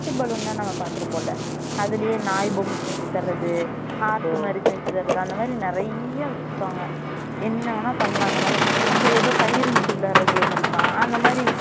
rocket balloon லாம் நம்ம பாத்துருகோம்ல அதுலயே நாய் பொம்ம செஞ்சு தர்றது heart மாறி செஞ்சு தர்றது அந்த மாறி நெறைய்யா வச்சிருக்காங்க என்ன வேணாலும் பண்லாம் அந்த மாறி அப்புறம் எதோ கயிறு இழுத்து விளையாடுற game இருக்காம் அந்த மாறி